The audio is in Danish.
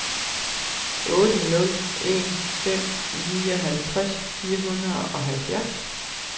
otte nul en fem nioghalvtreds fire hundrede og halvfjerds